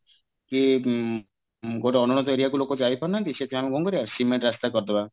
କି ଉଁ ଗୋଟେ area କୁ ଲୋକ ଯାଇପାରୁନାହାନ୍ତି ସେଠି କଣ କରିବା cement ରାସ୍ତା କରିଦବା